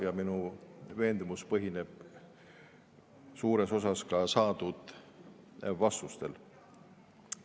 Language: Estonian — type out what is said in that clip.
Ja minu veendumus põhineb suures osas ka saadud vastustel.